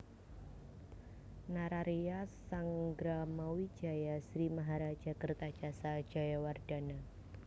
Nararya Sanggramawijaya Sri Maharaja Kertajasa Jayawardhana